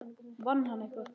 Vann hann eitthvað?